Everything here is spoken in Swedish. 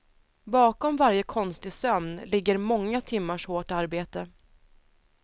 Bakom varje konstig sömn ligger många timmars hårt arbete.